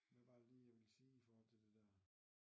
Hvad var det lige jeg ville sige i forhold til det dér